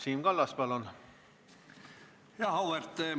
Siim Kallas, palun!